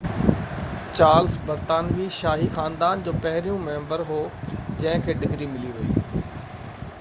Charles برطانوي شاهي خاندان جو پهريون ميمبر هو جنهن کي ڊگري ملي وئي